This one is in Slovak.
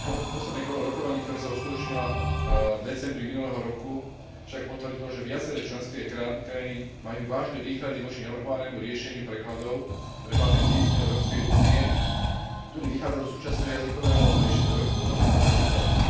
Posledné kolo rokovaní, ktoré sa uskutočnilo v decembri minulého roku, však potvrdilo, že viaceré členské krajiny majú vážne výhrady voči navrhovanému riešeniu prekladov pre patenty Európskej únie, ktoré vychádza zo súčasného jazykového režimu Európskeho patentového úradu.